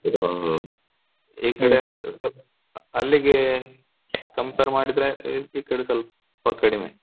ಇದ್ ಈಕಡೆ ಅಲ್ಲಿಗೆ compare ಮಾಡಿದ್ರೆ ಈಕಡೆ ಸೊಲ್ಪ ಕಡಿಮೆ.